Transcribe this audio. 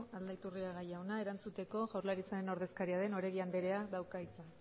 aldaiturriaga jauna erantzuteko jaurlaritzaren ordezkaria den oregi andreak dauka hitza